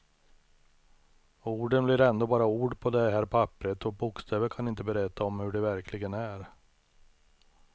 Orden blir ändå bara ord på det här papperet, och bokstäver kan inte berätta om hur det verkligen är.